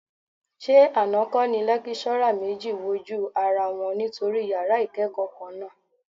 Ṣé àná kọ́ ni lékíṣọ́rà méjì wojú ara wọn nítorí yàrá ìkẹ́kọ̀ọ́ kan náà?